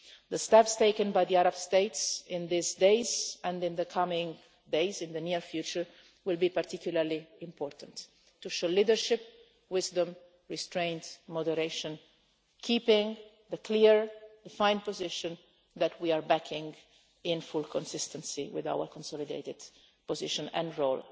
The steps taken by the Arab states in these days and in the coming days, in the near future, will be particularly important to show leadership, wisdom, restraint and moderation, keeping the clearly defined position that we are backing in full consistency with our consolidated position and role.